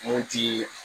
Mun ti